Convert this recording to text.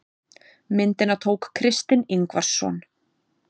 myndina tók kristinn ingvarsson